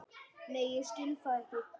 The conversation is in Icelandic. Nei ég skil það ekki.